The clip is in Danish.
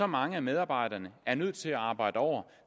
mange af medarbejderne er nødt til at arbejde over